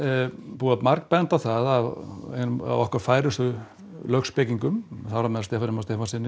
búið að margbenda á það af okkar færustu lögspekingum þar á meðal Stefáni Má Stefánssyni og